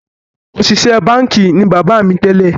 Òṣìṣẹ́ báńkì ni bàbá mi tẹ́lẹ̀